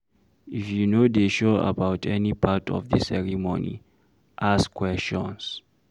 If you no dey sure about any part of di ceremony, ask questions